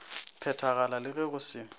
phethagala le ge go se